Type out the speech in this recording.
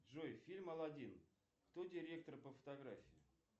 джой фильм алладин кто директор по фотографии